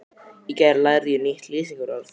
Í gær lærði ég nýtt lýsingarorð.